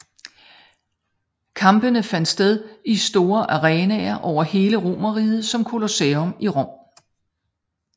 Kampene fandt sted i store arenaer over hele Romerriget som Colosseum i Rom